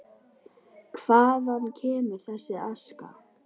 Hvaðan kemur þessi aska?